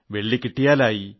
വെള്ളി കിട്ടിയെങ്കിലായി